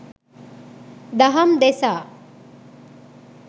දහම් දෙසා